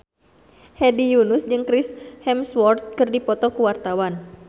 Hedi Yunus jeung Chris Hemsworth keur dipoto ku wartawan